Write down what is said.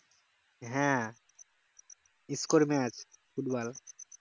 হ্যাঁ score match football